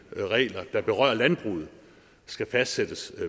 regler der berører landbruget skal fastsættes